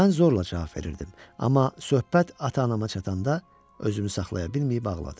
Mən zorla cavab verirdim, amma söhbət ata-anama çatanda özümü saxlaya bilməyib ağladım.